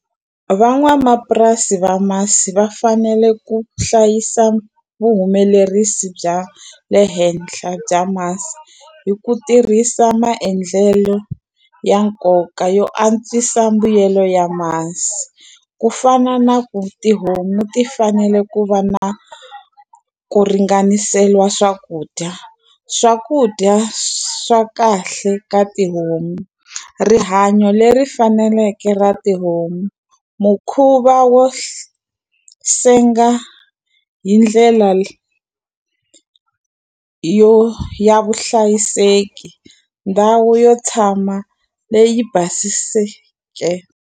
Van'wamapurasi va masi va fanele ku hlayisa vuhumelerisi bya le henhla bya masi hi ku tirhisa maendlelo ya nkoka yo antswisa mbuyelo ya masi. Ku fana na ku tihomu ti fanele ku va na ku ringaniseriwa swakudya. Swakudya swa kahle ka tihomu, rihanyo leri faneleke ra tihomu, mukhuva wo senga hi ndlela yo ya vuhlayiseki, ndhawu yo tshama leyi basisiweke.